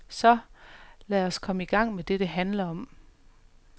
Så, lad os så komme i gang med det, det handler om.